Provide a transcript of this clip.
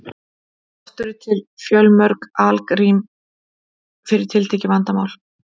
oft eru til fjölmörg algrím fyrir tiltekið vandamál